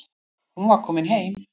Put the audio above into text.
Hún var komin heim.